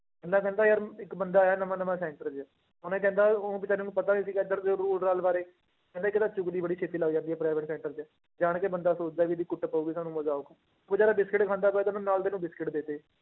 ਇੰਨਾ ਕਹਿੰਦਾ ਯਾਰ ਇੱਕ ਬੰਦਾ ਆਇਆ ਨਵਾਂ ਨਵਾਂ center 'ਚ ਉਹਨੇ ਕਹਿੰਦਾ ਉਹ ਬੇਚਾਰੇ ਨੂੰ ਪਤਾ ਨੀ ਸੀਗਾ ਇੱਧਰ ਦੇ rule ਰਾਲ ਬਾਰੇ ਕਹਿੰਦੇ ਇੱਕ ਤਾਂ ਚੁਗਲੀ ਬੜੀ ਛੇਤੀ ਲੱਗ ਜਾਂਦੀ ਹੈ private center 'ਚ, ਜਾਣ ਕੇ ਬੰਦਾ ਸੋਚਦਾ ਵੀ ਇਹਦੇ ਕੁੱਟ ਪਊਗੀ ਸਾਨੂੰ ਮਜ਼ਾ ਆਊਗਾ, ਉਹ ਬੇਚਾਰਾ ਬਿਸਕੁਟ ਖਾਂਦਾ ਪਿਆ ਤੇ ਉਹਨੂੰ ਨਾਲ ਦੇ ਨੂੰ ਬਿਸਕੁਟ ਦੇ ਦਿੱਤੇ